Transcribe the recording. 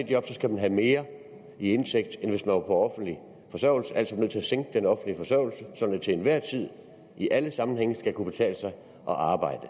job skal man have mere i indtægt end hvis på offentlig forsørgelse altså er til at sænke den offentlige forsørgelse sådan at det til enhver tid i alle sammenhænge skal kunne betale sig at arbejde